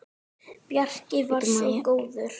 Bjarki var svo góður.